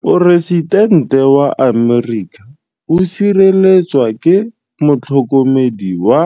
Poresitêntê wa Amerika o sireletswa ke motlhokomedi wa